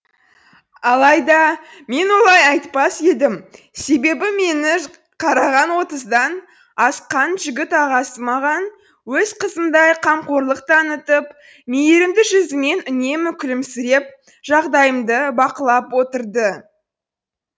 алайда мен олай айтпас едім себебі мені қараған отыздан асқан жігіт ағасы маған өз қызындай қамқорлық танытып мейірімді жүзімен үнемі күлімсіреп жағдайымды бақылап отырды